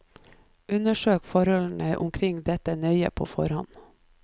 Undersøk forholdene omkring dette nøye på forhånd.